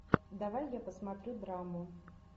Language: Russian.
давай я посмотрю драму